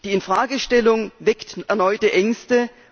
Die Infragestellung weckt erneute Ängste.